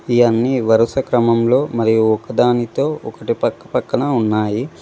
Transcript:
ఈ అన్ని వరుస క్రమంలో మరియు ఒకదానితో ఒకటి పక్క పక్కన ఉన్నాయి.